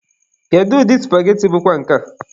Kedụ ụdị supageti bụkwa nke a?